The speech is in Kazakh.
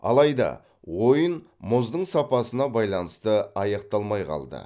алайда ойын мұздың сапасына байланысты аяқталмай қалды